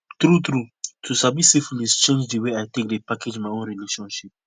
true true to sabi syphilis change the way i take dey package my own relationship